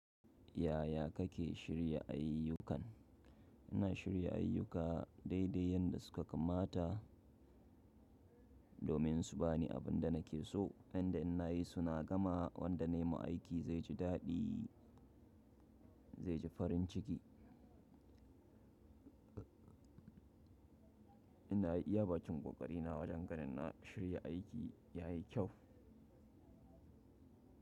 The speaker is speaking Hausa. Yaya kake shirya ayyukan? Ina shirya ayyuka daidai yanda suka kamata domin su bani abinda nake so. Yanda in nayi su na gama wanda nayi ma aiki zai ji daɗi, zai ji farin ciki. Ina yi iya bakin ƙoƙari na wajen ganin na shirya aiki ya yi kyau.